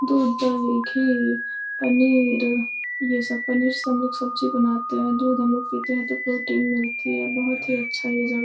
दूधदही घी पनीर ये सब पनीर सब्जी बनाते हैं। दूध हम लोग पीते हैं तो प्रोटीन मिलती है। बहोत ही अच्छा है ये जगह --